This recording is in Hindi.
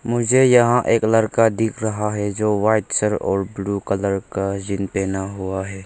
मुझे यहां एक लड़का दिख रहा है जो व्हाइट सर और ब्लू कलर का जीन पहना हुआ है।